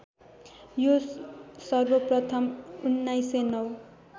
यो सर्वप्रथम् १९०९